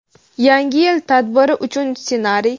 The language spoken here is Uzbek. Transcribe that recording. Yangi yil tadbiri uchun ssenariy.